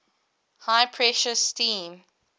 high pressure steam